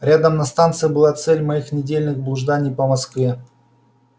рядом на станции была цель моих недельных блужданий по москве